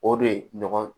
O de ye ɲɔgɔn